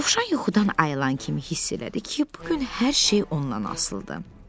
Dovşan yuxudan ayılan kimi hiss elədi ki, bu gün hər şey ondan asılıdır.